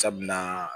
Sabula